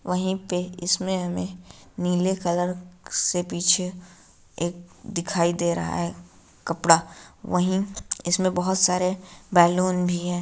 वहीं पे इसमें हमें नीले कलर से पीछे एक दिखाई दे रहा है कपड़ा वही इसमें बहुत सारे बैलून भी है।